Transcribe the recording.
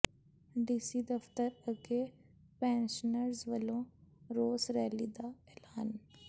DC ਦਫਤਰ ਅੱਗੇ pensioners ਵੱਲੋਂ ਰੋਸ ਰੈਲੀ ਦਾ ਐਲਾਨ